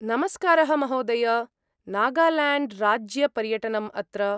नमस्कारः महोदय! नागाल्याण्ड्राज्यपर्यटनम् अत्र।